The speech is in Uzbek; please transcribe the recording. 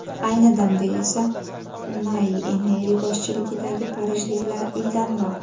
Ayni damda esa Unai Emeri boshchiligidagi parijliklar ildamroq.